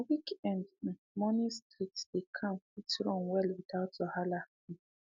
na weekend um morning street dey calm fit run well without wahala um